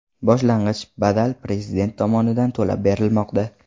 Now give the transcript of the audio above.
Boshlang‘ich badal Prezident tomonidan to‘lab berilmoqda.